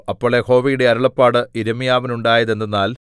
അപ്പോൾ യഹോവയുടെ അരുളപ്പാട് യിരെമ്യാവിനുണ്ടായത് എന്തെന്നാൽ